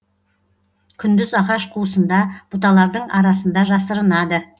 күндіз ағаш қуысында бұталардың арасында жасырынады